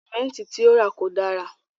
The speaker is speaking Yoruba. Símẹ̀ntì ti o ra kò dára.